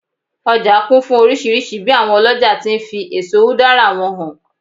ọja kún fún oríṣìíríṣìí bi awon oloja ti n fi eso udara wọn hàn